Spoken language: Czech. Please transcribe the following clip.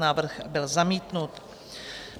Návrh byl zamítnut.